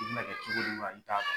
i bi n'a kɛ cogo di wa i t'a dɔn.